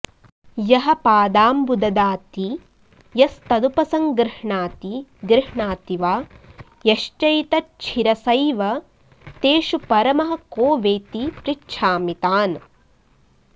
यः पादाम्बु ददाति यस्तदुपसङ्गृह्णाति गृह्णाति वा यश्चैतच्छिरसैव तेषु परमः को वेति पृच्छामि तान्